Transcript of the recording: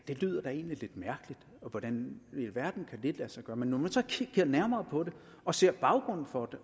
det lyder da egentlig lidt mærkeligt hvordan i alverden kan lade sig gøre men når man så kigger nærmere på det og ser baggrunden for det